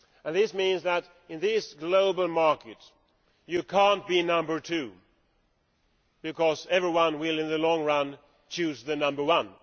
This means that, in this global market, you cannot be number two, because everyone will, in the long run, choose the number one.